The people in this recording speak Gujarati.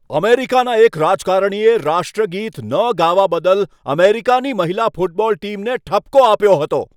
અમેરિકાના એક રાજકારણીએ રાષ્ટ્રગીત ન ગાવા બદલ અમેરિકાની મહિલા ફૂટબોલ ટીમને ઠપકો આપ્યો હતો.